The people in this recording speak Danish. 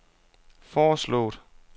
foreslået